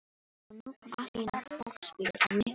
Og nú kom allt í einu fólksbíll á miklum hraða.